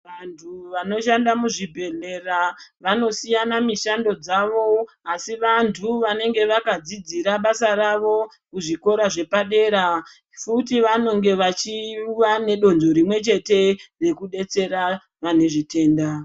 Vantu vanoshanda muzvibhedhlera vanosiyana mushando dzavo asi vantu vanenge vakadzidzira basa ravo kuzvikora zvepadera. Futi vanenge vachiva nedonzvo rimwe chete rekudetsera vane zvitenda.